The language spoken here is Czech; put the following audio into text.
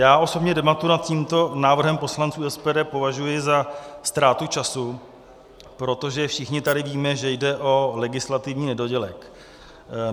Já osobně debatu nad tímto návrhem poslanců SPD považuji za ztrátu času, protože všichni tady víme, že jde o legislativní nedodělek.